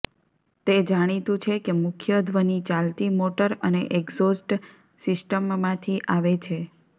તે જાણીતું છે કે મુખ્ય ધ્વનિ ચાલતી મોટર અને એક્ઝોસ્ટ સિસ્ટમમાંથી આવે છે